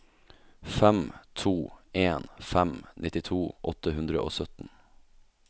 fem to en fem nittito åtte hundre og sytten